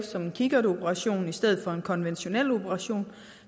som en kikkertoperation i stedet for en konventionel operation